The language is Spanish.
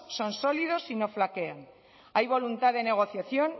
son sólidos y no flaquean hay voluntad de negociación